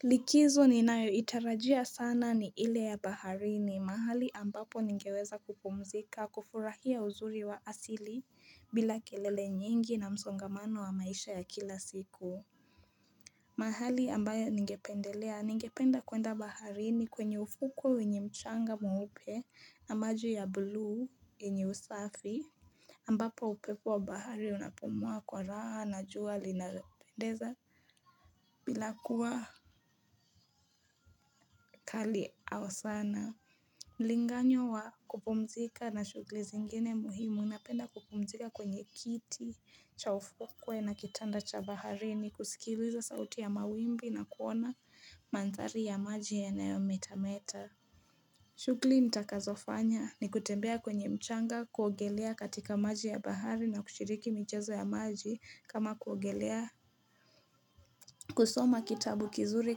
Likizo ninayo itarajia sana ni ile ya baharini mahali ambapo ningeweza kupumzika kufurahia uzuri wa asili bila kelele nyingi na msongamano wa maisha ya kila siku mahali ambayo ningependelea ningependa kwenda baharini kwenye ufuku wenye mchanga mweupe na maji ya blue yenye usafi ambapo upepo wa bahari unapomua kwa raha na jua linapendeza bila kuwa kali au sana. Mlinganyo wa kupumzika na shughuli zingine muhimu napenda kupumzika kwenye kiti cha ufokwe na kitanda cha baharini kusikiliza sauti ya mawimbi na kuona mandhali ya maji yanayo metameta. Shughuli nitakazofanya ni kutembea kwenye mchanga kuogelea katika maji ya bahari na kushiriki michezo ya maji kama kuogelea kusoma kitabu kizuri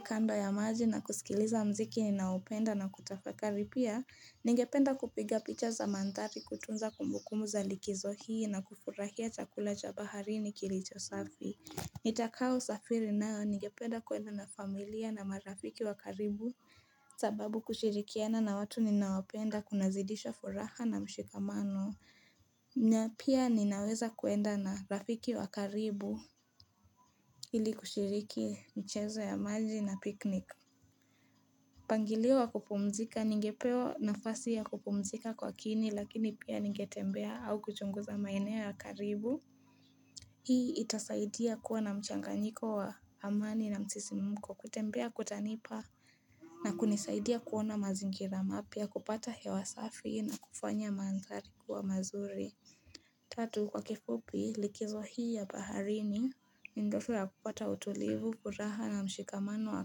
kando ya maji na kusikiliza muziki ninaopenda na kutafakari pia Ningependa kupiga picha za mandhali kutunza kumbukumu za likizo hii na kufurahia chakula cha bahari kilicho safi Nitakao safiri nao ningependa kwenda na familia na marafiki wakaribu sababu kushirikiana na watu ninawapenda kunazidisha furaha na mshikamano na pia ninaweza kwenda na rafiki wakaribu ili kushiriki mchezo ya maji na piknik mpangilio wa kupumzika ningepewa nafasi ya kupumzika kwa kini lakini pia ningetembea au kuchunguza maeneo ya karibu Hii itasaidia kuwa na mchanganyiko wa hamani na msisimko kutembea kutanipa na kunisaidia kuona mazingira mapya kupata hewa safi na kufanya mandhari kuwa mazuri. Tatu kwa kifupi likizo hii ya baharini ni ndefu ya kupata utulivu furaha na mshikamano wa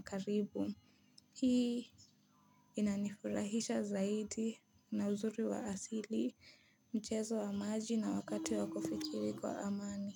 karibu. Hii inanifurahisha zaidi na uzuri wa asili mchezo wa maji na wakati wa kufikiri kwa amani.